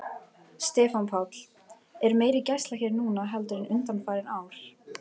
Stefán Páll: Er meiri gæsla hér núna heldur en undanfarin ár?